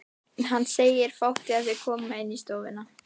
Hann segir fátt þegar þau koma inn í stofuna.